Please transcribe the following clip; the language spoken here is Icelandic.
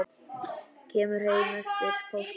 Kemur heim eftir páska.